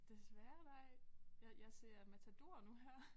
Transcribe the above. Desværre nej jeg jeg ser Matador nu her